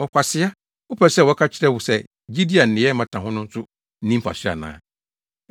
Ɔkwasea! Wopɛ sɛ wɔka kyerɛ wo sɛ gyidi a nneyɛe mmata ho no so nni mfaso ana?